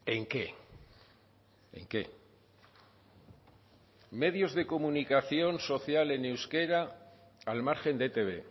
en qué en qué medios de comunicación social en euskera al margen de etb